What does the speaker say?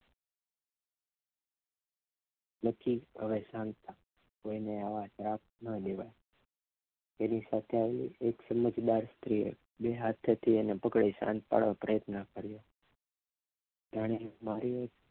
લખી આવે શાંત થા કોઈ ને આવા શ્રાપ ન દેવાય તેની સાથે આવેલ એક સમજદાર સ્ત્રી બે હાથે થી પકડી તેને શાંત પાડવા પ્રયત્ન કર્યો જાણે મારે